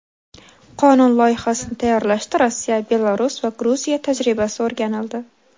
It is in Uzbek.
Qonun loyihasini tayyorlashda Rossiya, Belarus va Gruziya tajribasi o‘rganildi.